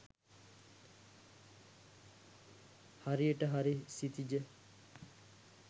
හරියට හරි සිතිජ